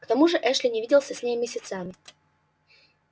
к тому же эшли не виделся с ней месяцами